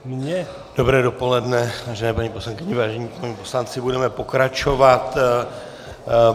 Dobré dopoledne, vážení paní poslankyně, vážení páni poslanci, budeme pokračovat.